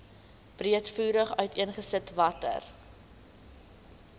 breedvoerig uiteengesit watter